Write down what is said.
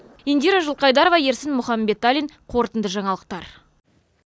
индира жылқайдарова ерсін мұхамбеталин қорытынды жаңалықтар